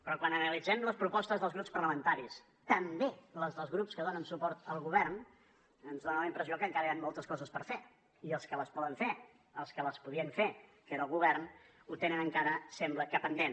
però quan analitzem les propostes dels grups parlamentaris també les dels grups que donen suport al govern ens fa la impressió que encara hi han moltes coses per fer i els que les poden fer els que les podien fer que era el govern ho tenen encara sembla que pendent